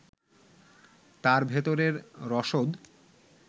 তার ভেতরের রসদ